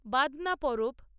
Badna Parab